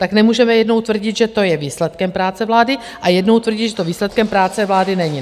Tak nemůžeme jednou tvrdit, že to je výsledkem práce vlády, a jednou tvrdí, že to výsledkem práce vlády není.